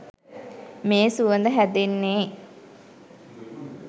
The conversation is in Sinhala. මේ සුවඳ හැදෙන්නේ